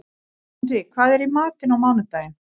Henrý, hvað er í matinn á mánudaginn?